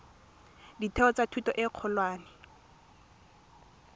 ditheo tsa thuto e kgolwane